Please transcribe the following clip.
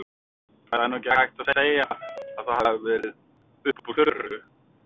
Það er nú ekki hægt að segja að það hafi verið upp úr þurru.